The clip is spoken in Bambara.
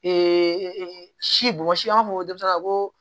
si bɔn i b'a fɔ ko denmisɛnya ko